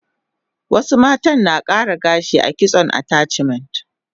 Wasu mata na kara gashi a kitson attachment